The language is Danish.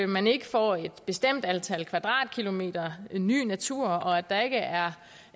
man ikke får et bestemt antal kvadratkilometer ny natur og der ikke er